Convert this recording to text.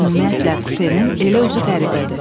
Ümumiyyətlə, kupenin elə özü qəribədir.